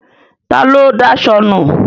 Ta ló daṣọ nu?